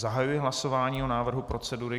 Zahajuji hlasování o návrhu procedury.